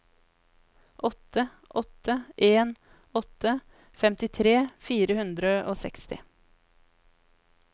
åtte åtte en åtte femtitre fire hundre og seksti